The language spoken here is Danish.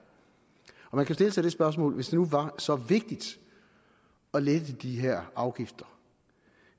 man kan jo stille sig det spørgsmål hvis det nu var så vigtigt at lette de her afgifter